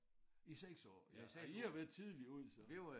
I 6 år ja så I har været tidligt ude så